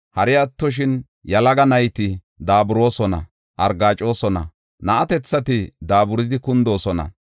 Hari attoshin yalaga nayti daaburoosona; argaacosona; na7atethati daaburidi kundoosona.